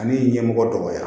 Ani ɲɛmɔgɔ dɔgɔya